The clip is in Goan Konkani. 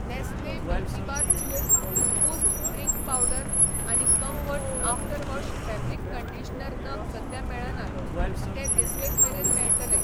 नॅस्ले मिल्कीबार चू, बूस्ट ड्रिंक पावडर आनी Comfort after wash fabric conditioner नग सद्या मेळनात, ते धिस वीक मेरेन मेळटले.